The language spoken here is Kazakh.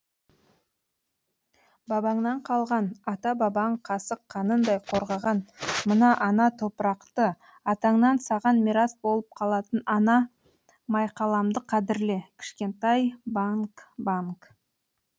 бабаңнан қалған ата бабаң қасық қанындай қорғаған мына ана топырақты атаңнан саған мирас болып қалатын ана майқаламды қадірле кішкентай банг банг